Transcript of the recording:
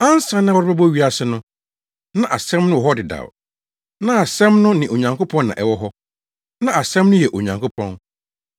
Ansa na wɔrebɛbɔ wiase no, na Asɛm no wɔ hɔ dedaw. Na Asɛm no ne Onyankopɔn na ɛwɔ hɔ. Na Asɛm no yɛ Onyankopɔn.